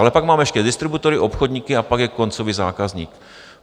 Ale pak máme ještě distributory, obchodníky a pak je koncový zákazník.